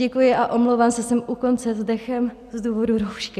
Děkuji a omlouvám se, jsem u konce s dechem z důvodu roušky.